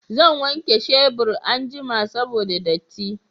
Zan wanke shebur anjima saboda datti